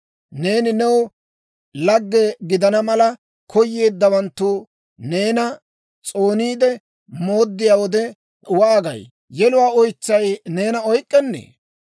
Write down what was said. Neeni new lage gidana mala, koyeeddawanttu neena s'ooniide mooddiyaa wode waagay? yeluwaa oytsay neena oyk'k'ennee?